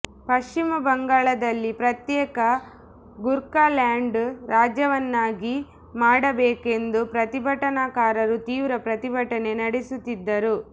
ಪಶ್ಚಿಮ ಬಂಗಾಳದಲ್ಲಿ ಪ್ರತ್ಯೇಕ ಗೂರ್ಖಾಲ್ಯಾಂಡ್ ರಾಜ್ಯವನ್ನಾಗಿ ಮಾಡಬೇಕೆಂದು ಪ್ರತಿಭಟನಾಕಾರರು ತೀವ್ರ ಪ್ರತಿಭಟನೆ ನಡೆಸುತ್ತಿದ್ದರು